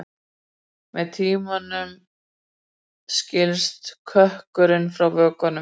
Með tímanum skilst kökkurinn frá vökvanum.